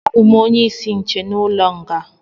Abụ m onye isi ndi nche n'ụlọ nga a